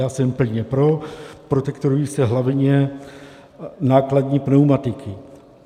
Já jsem plně pro, protektorují se hlavně nákladní pneumatiky.